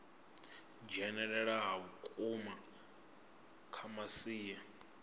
dzhenelela ha vhukuma kha masia